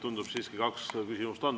Tundub siiski, et kaks küsimust on.